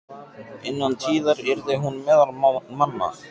Innan tíðar yrði hún meðal manna.